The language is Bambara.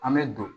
An bɛ don